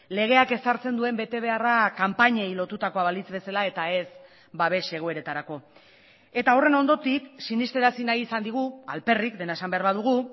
legeak ezartzen duen betebeharra kanpainei lotutakoa balitz bezala eta ez babes egoeretarako eta horren hondotik sinestarazi nahi izan digu alperrik dena esan behar badugu